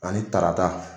Ani tarata